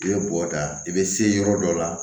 I bɛ bɔ ta i bɛ se yɔrɔ dɔ la